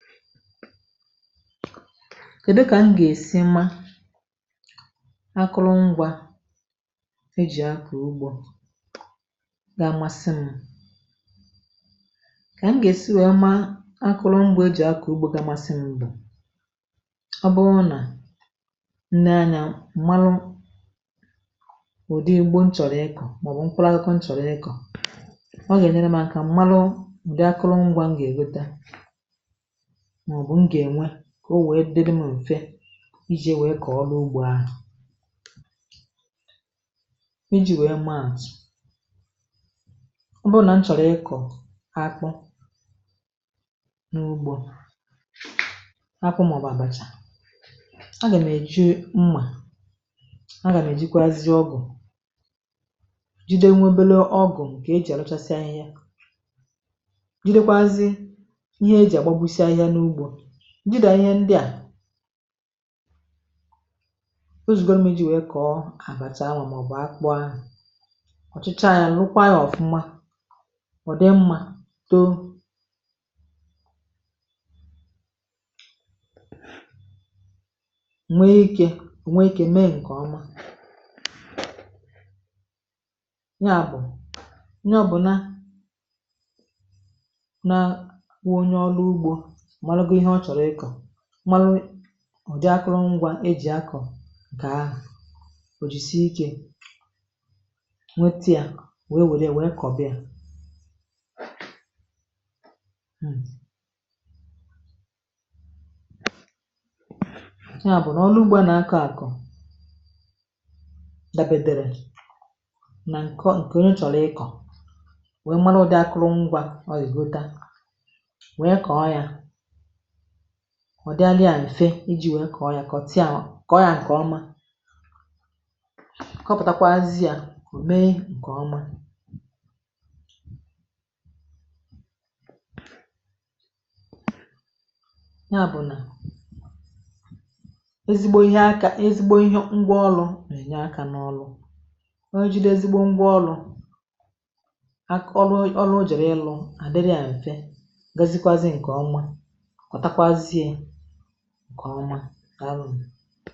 Kèdu kà m gà-èsi mmȧ akụrụ ngwa e jì akụ̀ ugbȯ gaa amasị m kà m gà-èsi wèe maa akụrụ ngwa e jì akụ̀ ugbȯ gaa amasị m bù ọ bụrụ nà nee anyȧ marụ ụ̀dị ugbo nchọ̀rọ̀ ịkọ̀ màọ̀bụ̀ mkpụrụ ȧkụ̇kwȧ nchọ̀rọ̀ ịkọ,̀ ọ gà-ènyere m aka marụ ụ̀de akụrụ ngwa m gà-ègotá màọbụ̀ m gà ènwe kà o nwèe dịrị m ùfe ijì nwèe kọ̀ọrụ ugbȯ ahụ.̀ E ji̇ nwèe mmȧàtụ,̀ ọ bụrụ nà m chọ̀rọ̀ ịkọ̀ akpụ n’ugbȯ akpụ màọbụ àbàchà a gà meju mmà a gà mejikwazie ọgụ̀ jide nwė ebele ọgụ̀ kà e jì àlụchasịa ahịhịa jidekwàzi ihe e ji agba gbo si ahịhịa na ụgbọ njị́de ihe ndị à o zùgoro m iji wee kọọ àbàchà anwụ̇ màọbụ̀ akpụ ahụ.̀ ọ̀chọchaa yȧ nrụkwa yȧ ọ̀fụma ọ̀ dị mmȧ too nwee ikė ọ nwee ikė mee ǹkèọma ya bụ̀ onye ọ bụ̀ na na kụọ onye ọrụ ugbȯ mmarụgo ihe ọ chọrọ ị kọ mara ụdị akụrụngwa e jì akọ̀ kà ahụ̀ ò jìsie ikė nwete yȧ nwèe nwère nwèe kọ̀bịa ya bụ̀ nà ọrụ ụgbọ ȧ nà akọ̀ àkọ̀ dabètèrè nà ǹkọ ǹkè onye chọ̀rọ̀ ikọ̀ nwèe marụ ụdị akụrụngwȧ ọ ya egota nwèe kọ̀ọ ya, ọ̀ dịalli à m̀fe iji̇ nwèe kà ọ yȧ kọ̀ tia m kọ̀ ọ yȧ m kòma kọpụ̀takwa azị yȧ, ò mee ǹkè oma ya bụ̀ nà ezigbo ihe aka, ezigbo ihe ngwa ọlụ̇ nà-ènye aka n’ọlụ onye jide ezigbo ngwa ọlụ̇ ak, ọrụ, ọrụ o jèrè ịlụ̇ à dịrị yȧ m̀fe gazikwazị m kò ọma ọ takwazị ǹkè ọma daalunù.